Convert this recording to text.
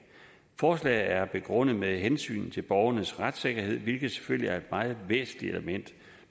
forslaget er begrundet med hensynet til borgernes retssikkerhed hvilket selvfølgelig er et meget væsentligt element